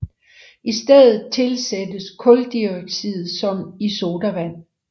I stedet tilsættes kuldioxid som i sodavand